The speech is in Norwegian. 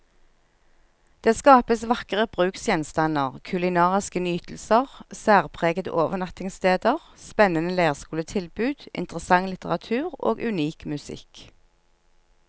Det skapes vakre bruksgjenstander, kulinariske nytelser, særpregede overnattingssteder, spennende leirskoletilbud, interessant litteratur og unik musikk.